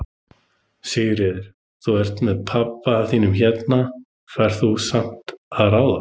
Sigríður: Þú ert með pabba þínum hérna, færð þú samt að ráða?